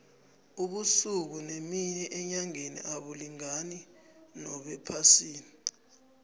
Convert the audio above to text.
ubusuku nemini enyangeni abulingani nobephasini